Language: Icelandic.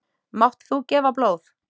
Mátt þú gefa blóð?